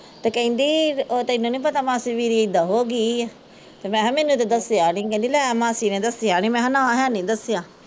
ਤੇ ਕਹਿੰਦੀ ਕਿ ਤੈਨੂ ਨੀ ਪਤਾ ਮਾਸੀ ਮੇਰੀ ਇੱਦਾਂ ਹੋ ਗਈ ਏ ਕਹਿੰਦੀ ਮੈਂ ਕਿਹਾ ਮੈਂਨੂੰ ਤੇ ਨਹੀਂ ਦੱਸਿਆ ਕਹਿੰਦੀ ਲੈ ਮਾਸੀ ਨੇ ਦੱਸਿਆ ਨੀ ਮੈਂ ਕਿਹਾ ਨਾ ਹੈ ਨੀਂ ਦੱਸਿਆ